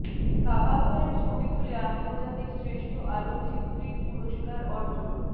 কাবা ঘরের ছবি তুলে আন্তর্জাতিক শ্রেষ্ঠ আলোকচিত্রীর পুরস্কার অর্জন